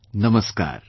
Namaskar